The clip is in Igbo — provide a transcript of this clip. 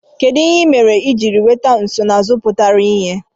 Kedu ihe ị mere iji nweta nsonaazụ pụtara ìhè?